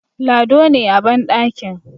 Lado ne a bandakin